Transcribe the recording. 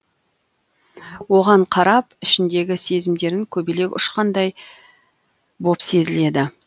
оған қарап ішіндегі сезімдерін көбелек ұшқандай боп сезіледі